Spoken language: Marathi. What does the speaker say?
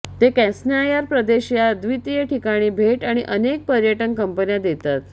ते क्रॅस्नायार प्रदेश या अद्वितीय ठिकाणी भेट आणि अनेक पर्यटन कंपन्या देतात